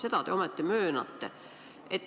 Seda te ometi möönate.